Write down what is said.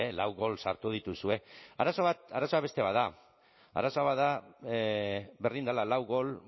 lau gol sartu dituzue arazoa beste bat da arazo bada berdin dela lau gol